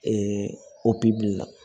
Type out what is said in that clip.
opereli la